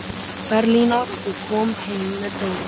Berlínar, og kom heim með dóp.